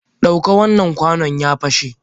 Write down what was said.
Dauka wannan kwano, ya pashe!